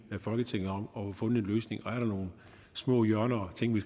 folketinget om og få fundet en løsning og er der nogle små hjørner og ting vi